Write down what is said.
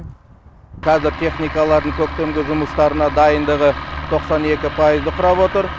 қазір техникалардың көктемгі жұмыстарына дайындығы тоқсан екі пайызды құрап отыр